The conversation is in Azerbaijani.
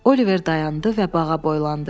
Oliver dayandı və bağa boylandı.